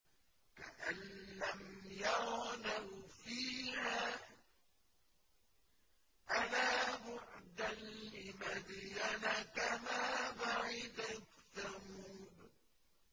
كَأَن لَّمْ يَغْنَوْا فِيهَا ۗ أَلَا بُعْدًا لِّمَدْيَنَ كَمَا بَعِدَتْ ثَمُودُ